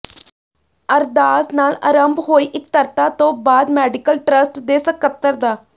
ਅਰਦਾਸ ਨਾਲ ਅਰੰਭ ਹੋਈ ਇਕੱਤਰਤਾ ਤੋਂ ਬਾਅਦ ਮੈਡੀਕਲ ਟਰੱਸਟ ਦੇ ਸਕੱਤਰ ਡਾ